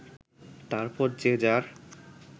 তারপর যে যার